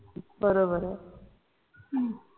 बरोबर आहे